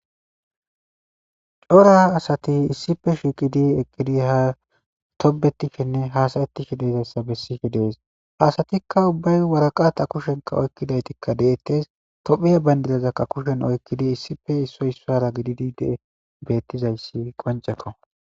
cora asati issife shiiqidi eqqidi ha tobetishenne hasayettishe deezayssa bessife dees asatikka ubbay waraqata kushenka oykkidaytikka deettes tophiya bayndidazakka kushen oykkidi issife issoy issara gididi dee beettizayssi qoncekko